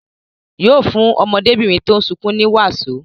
Yóò fún ọmọdébìnrin tó ń sunkún ní wàsó.